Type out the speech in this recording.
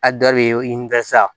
A dɔ de ye i ɲininka sa